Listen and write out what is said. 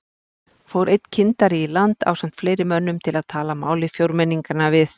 Fór einn kyndari í land ásamt fleiri mönnum til að tala máli fjórmenninganna við